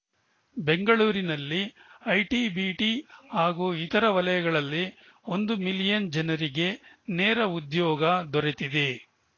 ಬೆಂಗಳೂರಿನಲ್ಲಿ ಐಟಿಬಿಟಿ ಹಾಗೂ ಇತರೆ ವಲಯಗಳಲ್ಲಿ ಒಂದು ಮಿಲಿಯನ್‌ ಜನರಿಗೆ ನೇರ ಉದ್ಯೋಗ ದೊರೆತಿದೆ